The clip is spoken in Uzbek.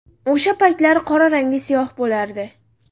O‘sha paytlari qora rangli siyoh bo‘lardi.